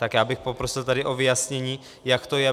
Tak já bych poprosil tady o vyjasnění, jak to je.